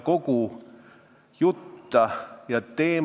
Kolm minutit juurde.